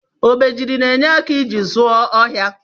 Obejiri na enye aka iji zụọ ohia.